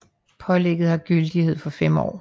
Pålægget har gyldighed for 5 år